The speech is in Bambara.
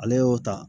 Ale y'o ta